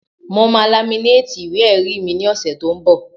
Mo máa laminéètì ìwé-ẹ̀rí mi ní ọ̀sẹ̀ tó n bọ̀